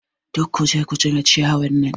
Duk kuje ku cire ciyawan nan!